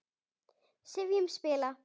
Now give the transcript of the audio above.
sifjum spilla